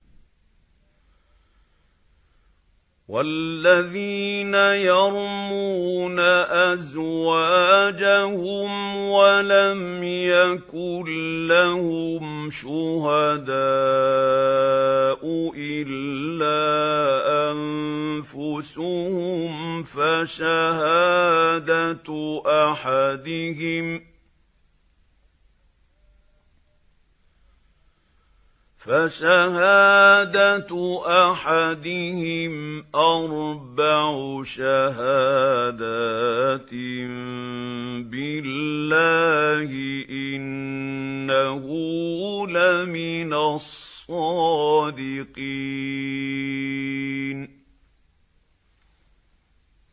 وَالَّذِينَ يَرْمُونَ أَزْوَاجَهُمْ وَلَمْ يَكُن لَّهُمْ شُهَدَاءُ إِلَّا أَنفُسُهُمْ فَشَهَادَةُ أَحَدِهِمْ أَرْبَعُ شَهَادَاتٍ بِاللَّهِ ۙ إِنَّهُ لَمِنَ الصَّادِقِينَ